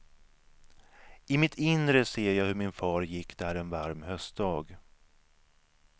I mitt inre ser jag hur min far gick där en varm höstdag.